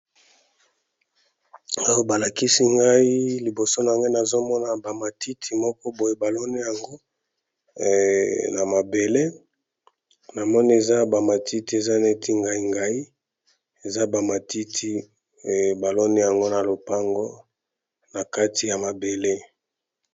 oyo balakisi ngai liboso na nga nazomona bamatiti moko boye balone yango na mabele na moni eza bamatiti eza neti ngai ngai eza bamatiti balone yango na lopango na kati ya mabele